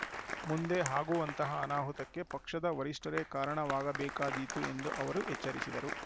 ಮುಂದೆ ಆಗುವಂತಹ ಅನಾಹುತಕ್ಕೆ ಪಕ್ಷದ ವರಿಷ್ಠರೇ ಕಾರಣವಾಗಬೇಕಾದೀತು ಎಂದು ಅವರು ಎಚ್ಚರಿಸಿದರು